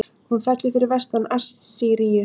Hún fellur fyrir vestan Assýríu.